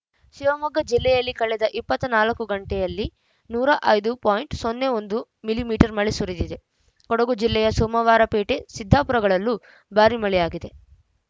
ಶಿವಮೊಗ್ಗ ಜಿಲ್ಲೆಯಲ್ಲಿ ಕಳೆದ ಇಪ್ಪತ್ತ್ ನಾಲ್ಕು ಗಂಟೆಯಲ್ಲಿ ನೂರ ಐದು ಪಾಯಿಂಟ್ ಒಂದು ಮಿಲಿ ಮೀಟರ್ ಮಳೆ ಸುರಿದಿದೆ ಕೊಡಗು ಜಿಲ್ಲೆಯ ಸೋಮವಾರಪೇಟೆ ಸಿದ್ದಾಪುರಗಳಲ್ಲೂ ಭಾರೀ ಮಳೆಯಾಗಿದೆ